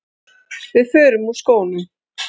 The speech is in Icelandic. Við förum úr skónum.